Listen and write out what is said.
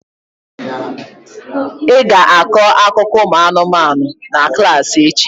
Ị ga-akọ akụkọ ụmụanụmanụ na klassị echi!